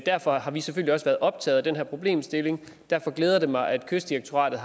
derfor har vi selvfølgelig også været optaget af den her problemstilling derfor glæder det mig at kystdirektoratet